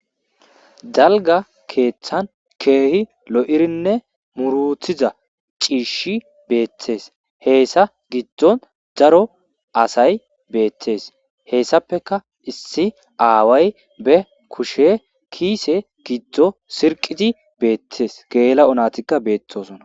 Dalgga keeththan keehi lo'irinne muurutiza ciishshi beettees hessa giddon daro asay beettees hessappe issi aaway be kushe kiise giddo sirqidi beettees gela'o naytika beetosona.